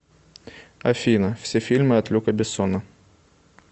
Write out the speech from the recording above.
афина все фильмы от люка бессона